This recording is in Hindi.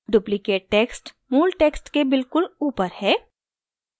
duplicate text मूल text के बिल्कुल ऊपर है